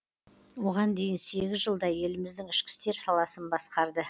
оған дейін сегіз жылдай еліміздің ішкі істер саласын басқарды